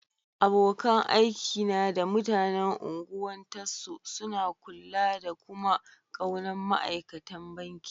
Abokan aiki na da mutanen Ungwan Tasso suna kulla da kuma ƙaunan ma'aikatan banki.